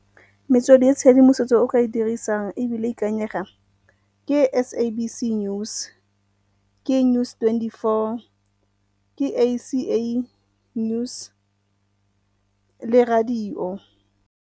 Metswedi ya tshedimosetso o ka e dirisang ebile e ikanyega ke SABC News, ke News twenty four, ke A_C_A News le radio.